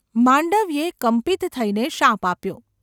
’ માંડવ્યે કંપિત થઈને શાપ આપ્યો.